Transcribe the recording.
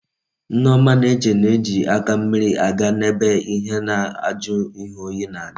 Nneoma na eche na eji aka mmiri aga na ebe ihe na aju ihe oyi na adi